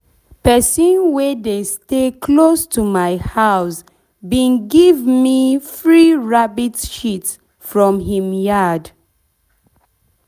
pesin wey dey stay close to my house bin give me bin give me free rabbit shit from him yard.